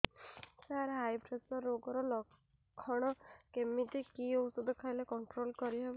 ସାର high pressure ରୋଗର ଲଖଣ କେମିତି କି ଓଷଧ ଖାଇଲେ କଂଟ୍ରୋଲ କରିହେବ